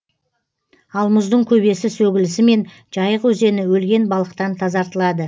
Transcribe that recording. ал мұздың көбесі сөгілісімен жайық өзені өлген балықтан тазартылады